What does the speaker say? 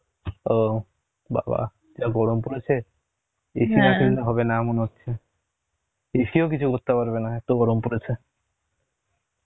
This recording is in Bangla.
ও বাবা যা গরম পড়েছে, AC না কিনলে হবে না মনে হচ্ছে, AC ও কিছু করতে পারবে না এত গরম পরেছে